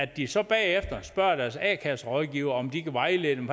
de så bagefter spørger deres a kasse rådgiver om de kan vejlede dem